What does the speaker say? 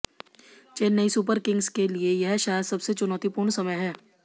Chennai Super Kings के लिये यह शायद सबसे चुनौतीपूर्ण समय है